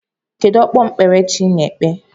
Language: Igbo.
Kedu okpukpere chi ị na-ekpe?